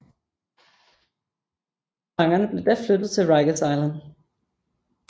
Fangerne blev da flyttet til Rikers Island